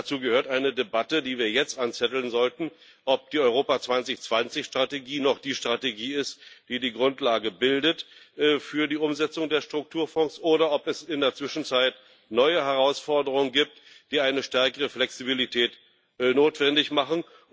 Dazu gehört eine Debatte, die wir jetzt darüber anzetteln sollten, ob die Europa 2020 Strategie noch die Strategie ist, die die Grundlage bildet für die Umsetzung der Strukturfonds, oder ob es in der Zwischenzeit neue Herausforderungen gibt, die eine stärkere Flexibilität notwendig machen.